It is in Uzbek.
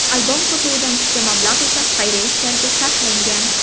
Albom sotuvidan tushgan mablag‘ esa xayriya ishlariga sarflangan.